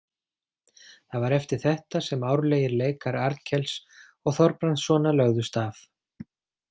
Það var eftir þetta sem árlegir leikar Arnkels og Þorbrandssona lögðust af.